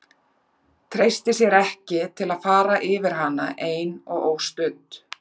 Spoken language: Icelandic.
Treysti sér ekki til að fara yfir hana ein og óstudd.